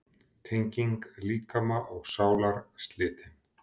Tenging líkama og sálar slitin.